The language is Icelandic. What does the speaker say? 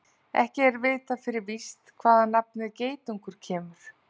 Ekki er vitað fyrir víst hvaðan nafnið geitungur kemur.